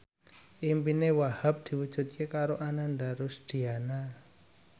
impine Wahhab diwujudke karo Ananda Rusdiana